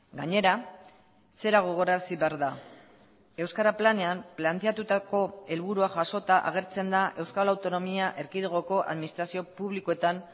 gainera zera gogorarazi behar da euskara planean planteatutako helburua jasota agertzen da euskal autonomia erkidegoko administrazio publikoetan